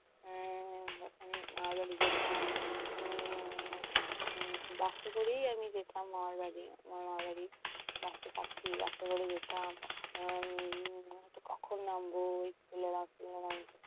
উম যখন মামার বাড়ি যেতাম। উম bus এ করেই আমি যেতাম মামার বাড়ি। মামার বাড়ি bus এ bus এ করে যেতাম উম কখন নামবো